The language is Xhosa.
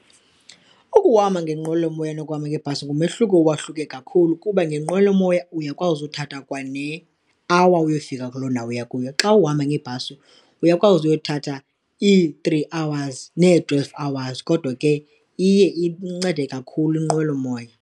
Ukuhamba ngenqwelomoya nokuhamba ngebhasi ngumehluko uwahluke kakhulu kuba ngenqwelomoya uyakwazi uthatha kwane-hour uyofika kuloo ndawo uya kuyo, xa uhamba ngebhasi uyakwazi uyothatha ii-three hours nee-twelve hours. Kodwa ke iye incede kakhulu inqwelomoya.